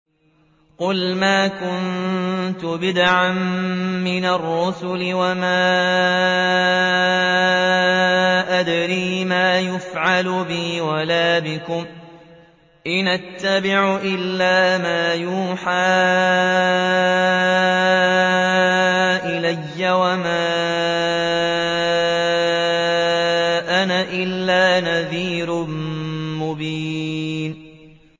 قُلْ مَا كُنتُ بِدْعًا مِّنَ الرُّسُلِ وَمَا أَدْرِي مَا يُفْعَلُ بِي وَلَا بِكُمْ ۖ إِنْ أَتَّبِعُ إِلَّا مَا يُوحَىٰ إِلَيَّ وَمَا أَنَا إِلَّا نَذِيرٌ مُّبِينٌ